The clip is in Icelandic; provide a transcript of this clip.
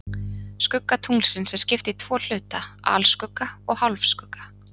Skugga tunglsins er skipt í tvo hluta, alskugga og hálfskugga.